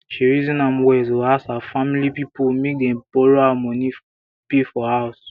she reason am well to ask her family pipo make dem borrow her money pay for house